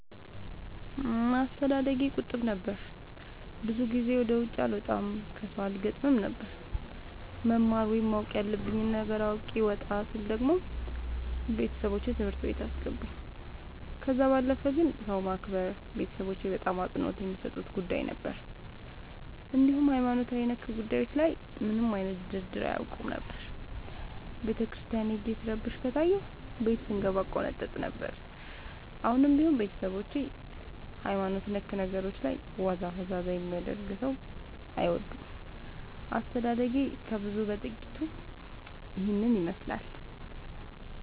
አስተዳደጌ ቁጥብ ነበር። ብዙ ጊዜ ወደ ውጪ አልወጣም ከሠው አልገጥምም ነበር። መማር ወይም ማወቅ ያለብኝ ነገር አውቄ ወጣ ስል ደግሞ ቤተሠቦቼ ትምህርት ቤት አስገቡኝ። ከዛ ባለፈ ግን ሰው ማክበር ቤተሠቦቼ በጣም አፅንኦት የሚሠጡት ጉዳይ ነበር። እንዲሁም ሀይማኖታዊ ጉዳዮች ላይ ምንም አይነት ድርድር አያውቁም ነበር። ቤተክርስቲያን ሄጄ ስረብሽ ከታየሁ ቤት ስንገባ እቆነጠጥ ነበር። አሁንም ቢሆን ቤተሠቦቼ በሀይማኖት ነክ ነገሮች ላይ ዋዛ ፈዛዛ የሚያደርግ ሠው አይወዱም። አስተዳደጌ ከብዙው በጥቂቱ ይህን ይመሥላል።